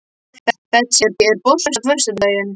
Betsý, er bolti á föstudaginn?